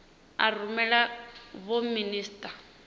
a rumela kha vho minisita